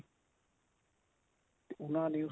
ਤੇ ਉਨ੍ਹਾਂ ਨੇ